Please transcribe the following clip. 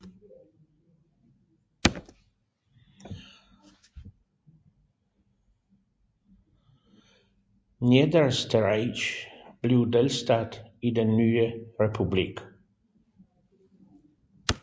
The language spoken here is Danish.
Niederösterreich blev delstat i den nye republik